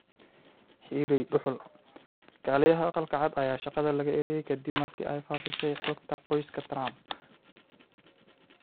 Xirey dugul: Kaaliyaha Aqalka Cad ayaa shaqada laga eryay ka dib markii ay faafisay xogta qoyska Trump